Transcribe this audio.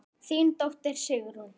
Þín dóttir, Sigrún.